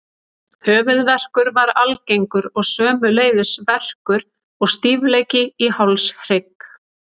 Höfuðverkur var algengur og sömuleiðis verkur og stífleiki í hálshrygg.